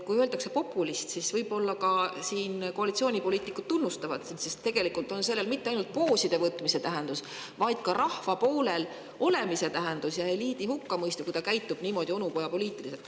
Kui öeldakse "populist", siis võib-olla koalitsioonipoliitikud ka tunnustavad sind, sest tegelikult on sellel mitte ainult pooside võtmise tähendus, vaid ka rahva poolel olemise ja eliidi hukkamõistu tähendus, kui eliit käitub niimoodi onupojapoliitiliselt.